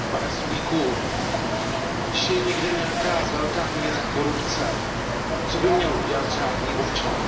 Pane Sulíku, když je někde nějaká velká míra korupce, co by měl udělat řádný občan?